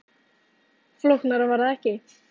Flóknara var það ekki